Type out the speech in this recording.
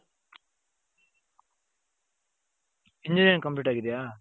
Engineering complete ಆಗಿದ್ಯಾ ?